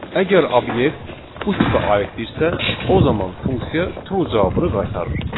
Əgər obyekt bu tipə aiddirsə, o zaman funksiya true cavabını qaytarır.